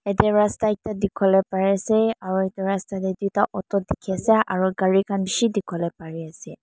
yate rasta ekta dekhi bo le bari ase aro etu rasta te tuita auto dekhi ase aro kari khan beshi dekhibole bari ase.